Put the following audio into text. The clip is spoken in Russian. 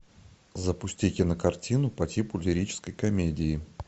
запусти кинокартину по типу лирической комедии